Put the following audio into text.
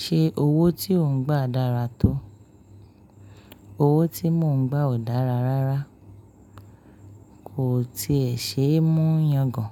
Ṣé owó tí ò ń gbà dára tó? Owó tí mò ń gbà ò dára rárá, kò tí è ṣe é mú yangàn.